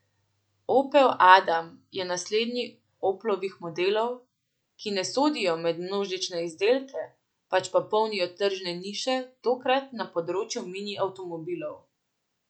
Opel adam je naslednji Oplovih modelov, ki ne sodijo med množične izdelke, pač pa polnijo tržne niše, tokrat na področju mini avtomobilov.